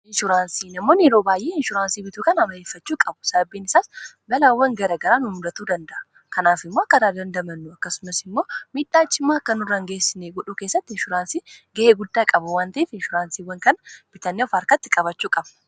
inshuraansii namoonn yeroo baay'ee inshuraansii bituukan ama'eeffachuu qabu sababbiin isaas balaawwan gara garaa numudatuu danda'a kanaaf immoo karaa dandamannu akkasumas immoo miidhaachimaa kkan u rangeessinii godhuu keessatti inshuraansii ga'ee guddaa qabu wantii f inshuraansiiwwan kan biritaaniyaa of harkatti qabachuu qabu